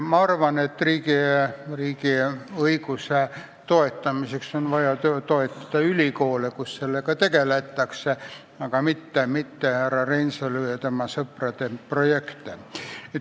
Ma arvan, et riigiõiguse toetamiseks on vaja toetada ülikoole, kus sellega tegeletakse, aga mitte härra Reinsalu ja tema sõprade projekte.